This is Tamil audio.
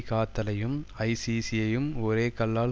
காத்தலையும் ஐசிசி யையும் ஒரே கல்லால்